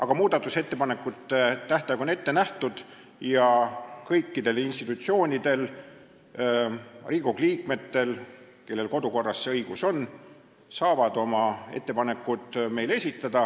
Ent muudatusettepanekute tähtaeg on määratud ja kõik, kellel kodukorra järgi see õigus on, saavad oma ettepanekud meile esitada.